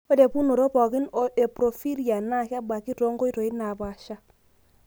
Ore pukunoto pooki e porphyria na kebaaki tonkoito napaasha.